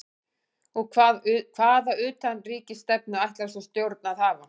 Og hvaða utanríkisstefnu ætlar svona stjórn að hafa?